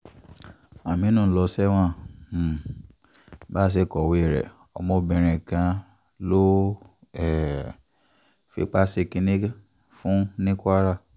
àmínú lọ sẹ́wọ̀n um bá a ṣe kọ̀wé rẹ̀ ọmọbìnrin kan ló um fipá ṣe kínní fún ní kwara